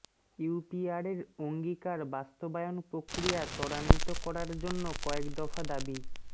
ইউপিআরের অঙ্গীকার বাস্তবায়ন প্রক্রিয়া ত্বরান্বিত করার জন্য কয়েকদফা দাবি